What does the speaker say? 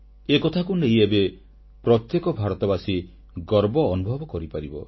ଏକଥାକୁ ନେଇ ଏବେ ପ୍ରତ୍ୟେକ ଭାରତବାସୀ ଗର୍ବ ଅନୁଭବ କରିପାରିବ